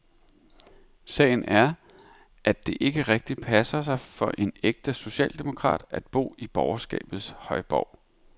Sagen er, at det ikke rigtig passer sig for en ægte socialdemokrat at bo i borgerskabets højborg.